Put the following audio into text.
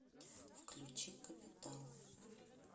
включи капитал